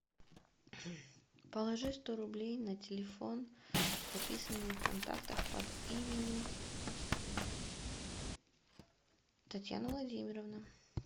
положи сто рублей на телефон записанный в контактах под именем татьяна владимировна